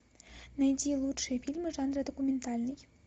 найди лучшие фильмы жанра документальный